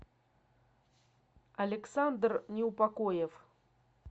александр неупокоев